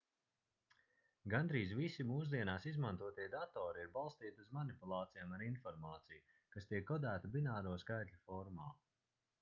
gandrīz visi mūsdienās izmantotie datori ir balstīti uz manipulācijām ar informāciju kas tiek kodēta bināro skaitļu formā